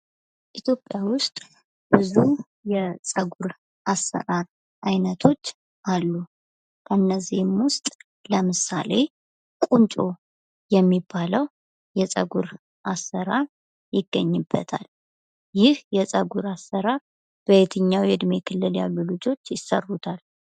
ኢትዮጵያ ውስጥ ብዙ የጸጉር አሰራር አይነቶች አሉ። ከነዚሀም ውሰጥ ለምሳሌ ቁንጮ የሚባለው የፀጉር አሰራር ይገኝበታል። ይህ የፀጉር አሰራር በየትኛው የዕድሜ ክልል ያሉ ልጆች ይሰሩታል?